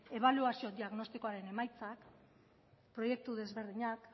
ebaluazio diagnostikoaren emaitzak proiektu desberdinak